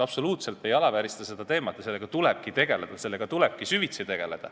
Absoluutselt ei alaväärista seda teemat, sellega tulebki süvitsi tegeleda.